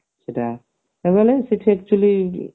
ସେଟା ସେଠି actually